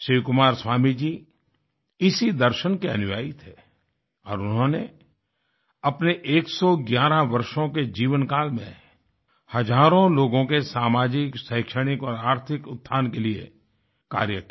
शिवकुमार स्वामी जी इसी दर्शन के अनुयायी थे और उन्होंने अपने 111 वर्षों के जीवन काल में हज़ारों लोगों के सामाजिक शैक्षिक और आर्थिक उत्थान के लिए कार्य किया